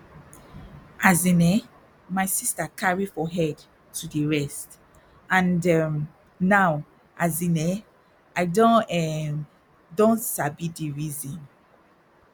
as in eh my sister carry for head to dey rest and um now as in eh i um don sabi di reason